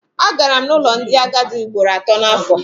Agara n'ụlọ ndị agadi ugboro atọ n'afọ.